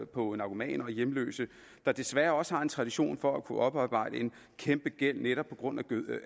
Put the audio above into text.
på narkomaner og hjemløse der desværre også har en tradition for at kunne oparbejde en kæmpegæld også netop på grund